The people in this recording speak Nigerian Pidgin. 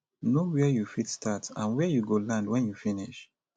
know where you fit start and where you go land when you finish